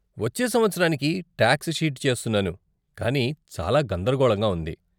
వచ్చే సంవత్సరానికి tax sheet చేస్తున్నాను కానీ చాలా గందరగోళంగా ఉంది.